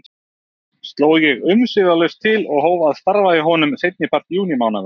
Sló ég umsvifalaust til og hóf að starfa hjá honum seinnipart júnímánaðar.